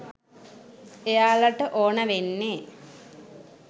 එයාලට ඕන වෙන්නෙ